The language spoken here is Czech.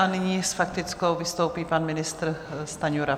A nyní s faktickou vystoupí pan ministr Stanjura.